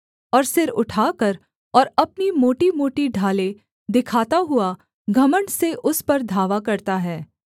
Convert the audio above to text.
और सिर उठाकर और अपनी मोटीमोटी ढालें दिखाता हुआ घमण्ड से उस पर धावा करता है